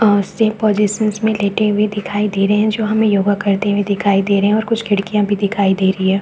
और safe positions में लेटे हुए दिखाई दे रहे है जो हमे योगा करते हुए दिखाई दे रहे है और कुछ खिड़कियाँ भी दिखाई दे रही है।